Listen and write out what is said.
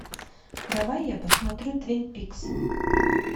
давай я посмотрю твин пикс